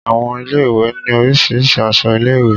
Àwọn ilé ìwé ní Oríṣiríṣi aṣọ ilé ìwé.